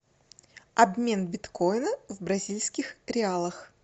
обмен биткоина в бразильских реалах